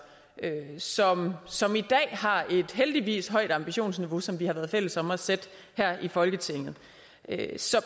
som i dag har et heldigvis højt ambitionsniveau som vi har været fælles om at sætte her i folketinget